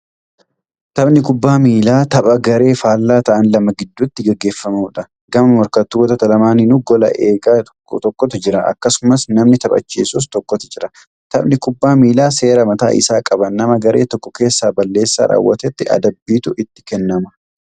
Taphni kubbaa miillaa tapha garee faallaa ta'an lama gidduutti gaggeeffamuudha. Gama morkattoota lamaaninuu goola egaa tokko tokkotu jira. Akkasumas namni taphachisus tokkotu jira. Taphni kubbaa miillaa seera mataa isaa qaba. Namna garee tokko keessaa balleessaa raawwatetti adabbiitu itti kennamu.